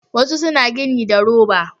Wasu na gini da roba